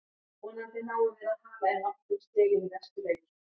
Vonandi náum við að hala inn nokkrum stigum í næstu leikjum.